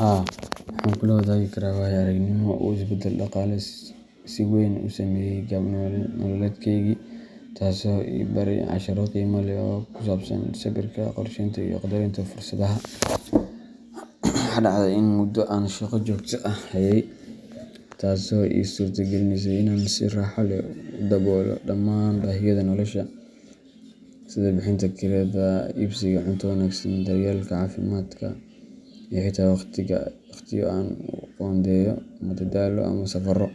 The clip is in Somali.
Haa, waxaan kula wadaagi karaa waayo-aragnimo uu isbeddel dhaqaale si weyn u saameeyay qaab nololeedkaygii, taasoo i baray casharro qiimo leh oo ku saabsan sabirka, qorsheynta, iyo qaddarinta fursadaha. Waxa dhacday in muddo aan shaqo joogto ah hayay, taasoo ii suurta gelinaysay in aan si raaxo leh u daboolo dhammaan baahiyaha nolosha, sida bixinta kirada, iibsiga cunto wanaagsan, daryeelka caafimaadka, iyo xitaa waqtiyo aan u qoondeeyo madadaalo ama safarro.